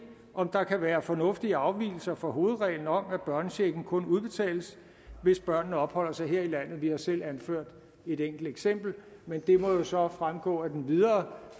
om der kan være fornuftige afvigelser fra hovedreglen om at børnechecken kun udbetales hvis børnene opholder sig her i landet vi har selv anført et enkelt eksempel men det må jo så fremgå af den videre